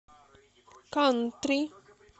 кантри